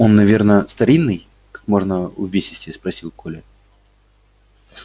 он наверно старинный как можно увесистее спросил коля